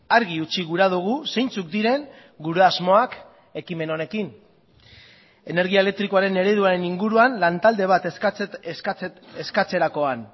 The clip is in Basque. argi utzi gura dugu zeintzuk diren gure asmoak ekimen honekin energia elektrikoaren ereduaren inguruan lantalde bat eskatzerakoan